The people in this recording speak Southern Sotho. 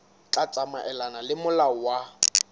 tla tsamaelana le molao wa